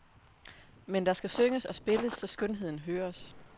Men der skal synges og spilles, så skønheden høres.